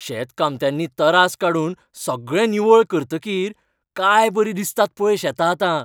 शेतकामत्यांनी तरास काडून सगळें निवळ करतकीर काय बरीं दिसतात पळय शेतां आतां.